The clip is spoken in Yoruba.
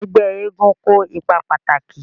Ẹgbẹ́ eégún kó ipa pàtàkì